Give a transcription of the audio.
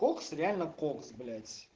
кокс реально кокс блять